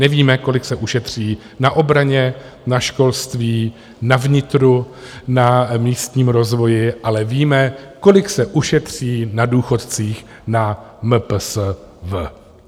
Nevíme, kolik se ušetří na obraně, na školství, na vnitru, na místním rozvoji, ale víme, kolik se ušetří na důchodcích na MPSV.